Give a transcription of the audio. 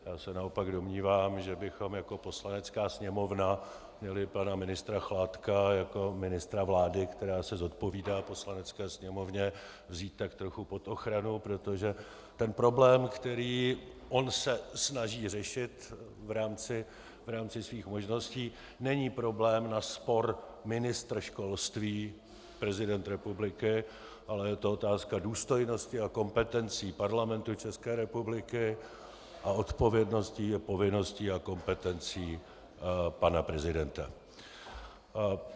Já se naopak domnívám, že bychom jako Poslanecká sněmovna měli pana ministra Chládka jako ministra vlády, která se zodpovídá Poslanecké sněmovně, vzít tak trochu pod ochranu, protože ten problém, který on se snaží řešit v rámci svých možností, není problém na spor ministr školství - prezident republiky, ale je to otázka důstojnosti a kompetencí Parlamentu České republiky a odpovědnosti a povinností a kompetencí pana prezidenta.